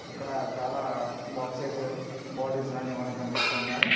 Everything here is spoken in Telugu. ఇక్కడ చాలా బాక్సెసు బాటిల్స్ లాంటివి మనకు కనిపిస్తున్నాయ్.